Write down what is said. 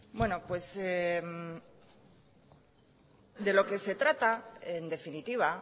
daukadan de lo que se trata en definitiva